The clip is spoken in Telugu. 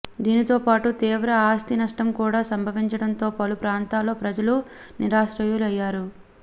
దానితో పాటు తీవ్ర ఆస్తి నష్టం కూడా సంభవించడంతో పలు ప్రాంతాల్లో ప్రజలు నిరాశ్రయులయ్యారు